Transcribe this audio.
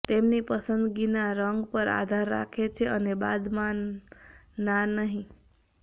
તેમની પસંદગીના રંગ પર આધાર રાખે છે અને બાદમાં ના નહીં